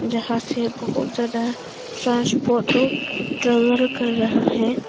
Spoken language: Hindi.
यहां से बहुत ज्यादा ट्रांसपोर्ट लोग ट्रैवल कर रहा है।